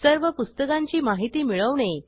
सर्व पुस्तकांची माहिती मिळवणे